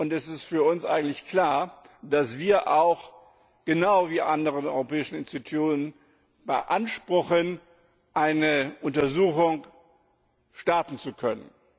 Und es ist für uns eigentlich klar, dass wir auch genau wie die anderen europäischen Institutionen beanspruchen, eine Untersuchung starten zu können.